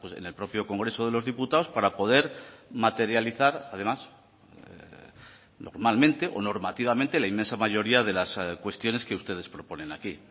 en el propio congreso de los diputados para poder materializar además normalmente o normativamente la inmensa mayoría de las cuestiones que ustedes proponen aquí